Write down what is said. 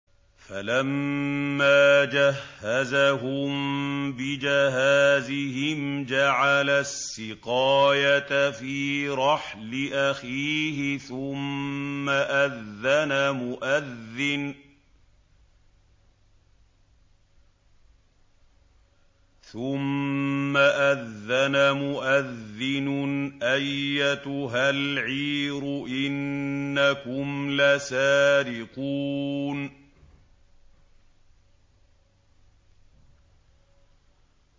فَلَمَّا جَهَّزَهُم بِجَهَازِهِمْ جَعَلَ السِّقَايَةَ فِي رَحْلِ أَخِيهِ ثُمَّ أَذَّنَ مُؤَذِّنٌ أَيَّتُهَا الْعِيرُ إِنَّكُمْ لَسَارِقُونَ